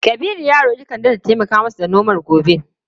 Kabiru ya roki kande da ta taimaka masa da nomar gobe.